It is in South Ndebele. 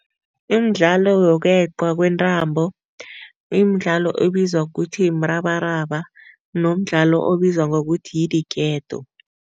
Imidlalo yokweqwa kwentambo, imidlalo ebizwa kuthi mrabaraba nomdlalo obizwa ngokuthi yi-diketo.